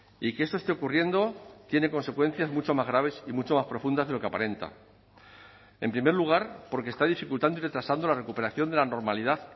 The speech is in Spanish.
y que esto esté ocurriendo tiene consecuencias mucho más graves y mucho más profundas de lo que aparenta en primer lugar porque está dificultando y retrasando la recuperación de la normalidad